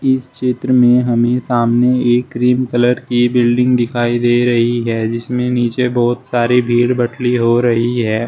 इस चित्र में हमें सामने एक क्रीम कलर की बिल्डिंग दिखाई दे रही है जिसमें नीचे बहोत सारी भीड़ बटली हो रही है।